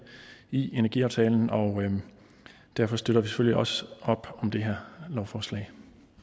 i energiaftalen og derfor støtter vi selvfølgelig også op om det her lovforslag